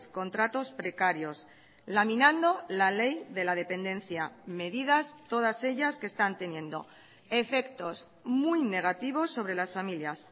contratos precarios laminando la ley de la dependencia medidas todas ellas que están teniendo efectos muy negativos sobre las familias